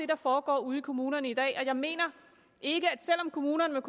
der foregår ude i kommunerne i dag og jeg mener ikke at kommunerne